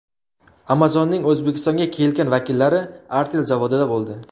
Amazon’ning O‘zbekistonga kelgan vakillari Artel zavodida bo‘ldi.